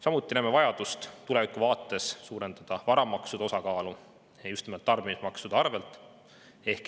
Samuti näeme tulevikuvaates vajadust suurendada varamaksude osakaalu just nimelt tarbimismaksude.